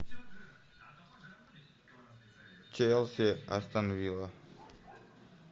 челси астон вилла